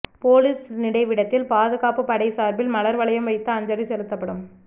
police நினைவிடத்தில் பாதுகாப்பு படை சார்பில் மலர்வளையம் வைத்து அஞ்சலி செலுத்தப்படும்